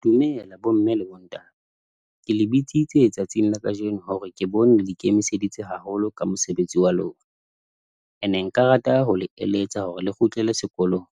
Dumela, bomme le bontate. Ke le bitsitse tsatsing la kajeno, hore ke bone le ikemiseditse haholo ka mosebetsi wa lona. And nka rata ho le eletsa hore le kgutlele sekolong,